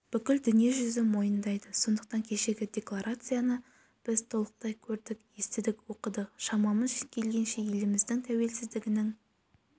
бүкіл дүниежүзі мойындайды сондықтан кешегі декларацияны біз толықтай көрдік естідік оқыдық шамамыз келгенше еліміздің тәуелсіздігінің